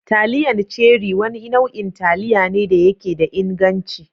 Taliyan Cherie Wani nau'in taliya ne da yake da inganci.